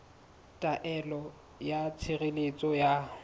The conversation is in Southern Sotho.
ya taelo ya tshireletso ya